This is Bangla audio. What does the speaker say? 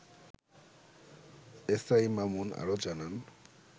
এস আই মামুন আরো জানান